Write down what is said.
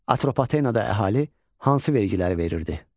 Atropatenada əhali hansı vergiləri verirdi?